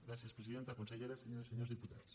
gràcies presidenta consellera senyores senyors diputats